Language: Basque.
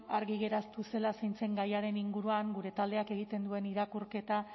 argi geratu zela zein zen gaiaren inguruan gure taldeak egiten duen irakurketa